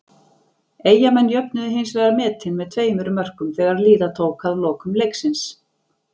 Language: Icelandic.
Eyjamenn jöfnuðu hins vegar metin með tveimur mörkum þegar líða tók að lokum leiksins.